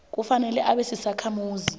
kufanele abe sisakhamuzi